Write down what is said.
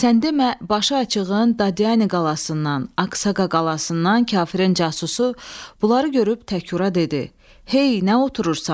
Sən demə, başıaçığın Dadyan qalasından, Aqsaqa qalasından kafirin casusu bunları görüb təğə dedi: Hey, nə oturursan?